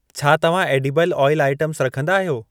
छा तव्हां edible oil items रखंदा आहियो?